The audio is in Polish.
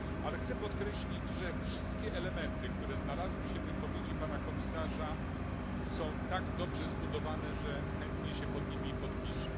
Ale chcę podkreślić, że wszystkie elementy, które znalazły się w wypowiedzi Pana Komisarza, są tak dobrze zbudowane, że chętnie się pod nimi podpiszę.